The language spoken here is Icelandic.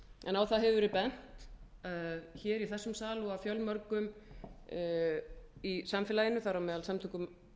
en á það hefur verið bent hér í þessum sal og af fjölmörgum í samfélaginu þar á meðal samtökum